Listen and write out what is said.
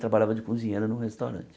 Trabalhava de cozinheira num restaurante.